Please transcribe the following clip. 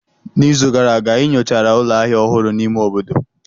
N'izu gara aga, anyị nyochara ụlọ ahịa ọhụrụ n'ime obodo.